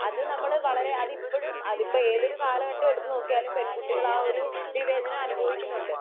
അത് നമ്മൾ വളരെ അതിപ്പോഴും അതിപ്പോ ഏതൊരു കാലഘട്ടം എടുത്തു നോക്കിയാലും പെൺകുട്ടികൾ ആ ഒരു വിവേചനം അനുഭവിക്കുന്നുണ്ട്